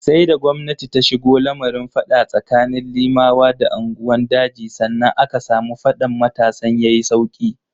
Sai da gwamnati ta shigo lamarin fada tsakanin Limawa da unguwan daji, sannan aka samu faɗan matasan ya yi sauki.